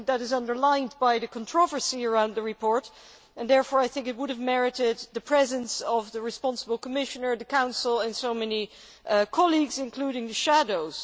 I think this is underlined by the controversy about the report, and therefore I think it would have merited the presence of the responsible Commissioner, the Council and many colleagues, including the shadows.